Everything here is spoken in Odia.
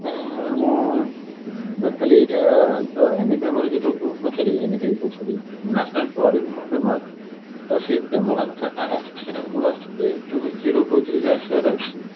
ସେଥି ପାଇଁ ମୁଁ ବସ ଖାଲି ଏଇଟା ମାନେ sorry NEP କହୁଛି sorry national ତ ସେଇ framework two zero two three ରେ ଆସିବାର ଅଛି